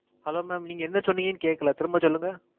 Hello mam நீங்க என்ன சொன்னிங்கனு கேக்கல. திரும்ப சொல்லுங்க.